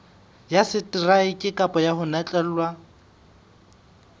ya seteraeke kapa ho notlellwa